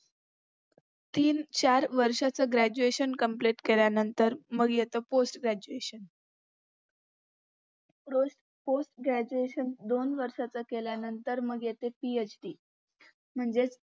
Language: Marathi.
तीन चार वर्षाच graduation complete केल्यानंतर मग येत post graduation postgraduation दोन वर्षाचा केल्यानंतर मग येत PhD म्हणजेच